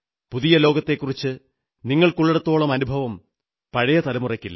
പുതിയ ലോകത്തെക്കുറിച്ച് നിങ്ങൾക്കുള്ളിടത്തോളം അനുഭവം പഴയ തലമുറയ്ക്കില്ല